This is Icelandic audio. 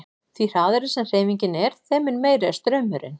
Því hraðari sem hreyfingin er þeim mun meiri er straumurinn.